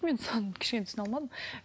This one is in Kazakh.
мен соны кішкене түсіне алмадым